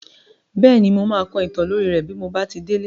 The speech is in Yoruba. Bẹ́ẹ̀ni, mo máa kọ ìtàn lórí rẹ́ bí mo bá ti délé.